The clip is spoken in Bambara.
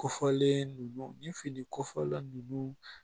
Kɔfɔlen ninnu ni finiko fɔla ninnu